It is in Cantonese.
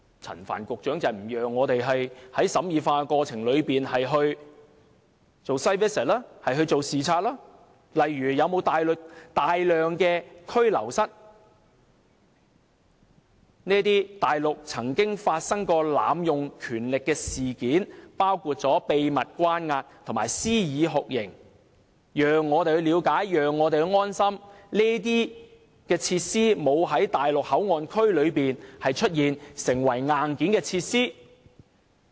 陳帆局長不讓我們在審議法案的過程中前往視察，看看例如是否有大量拘留室——內地曾經發生濫用權力的事件，包括秘密關押及施以酷刑——讓我們了解及安心，知道這些設施沒有在內地口岸區內出現，成為硬件設施。